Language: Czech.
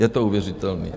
Je to uvěřitelné.